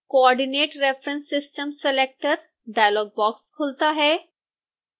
coordinate reference system selector dialog box खुलता है